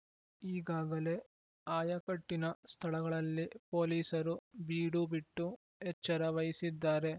ಈಗಾಗಲೇ ಆಯಕಟ್ಟಿನ ಸ್ಥಳಗಳಲ್ಲಿ ಪೊಲೀಸರು ಬೀಡುಬಿಟ್ಟು ಎಚ್ಚರ ವಹಿಸಿದ್ದಾರೆ